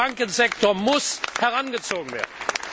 Der Bankensektor muss herangezogen werden.